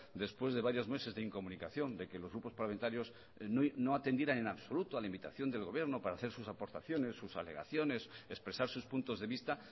después de varios meses de incomunicación de que los grupos parlamentarios no atendieron en absoluto a la invitación del gobierno para hacer sus aportaciones sus alegaciones expresar sus puntos de vista